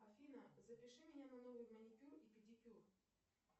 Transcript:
афина запиши меня на новый маникюр и педикюр